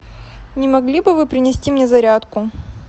не могли бы вы принести мне зарядку